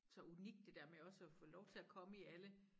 Så unikt det dér med også at få lov til at komme i alle